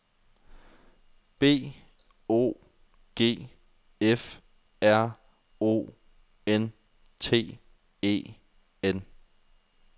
B O G F R O N T E N